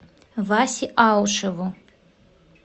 васе аушеву